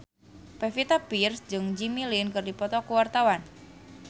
Pevita Pearce jeung Jimmy Lin keur dipoto ku wartawan